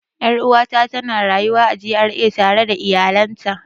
Er'uwa ta tana rayuwa a GRA tare da iyalan ta.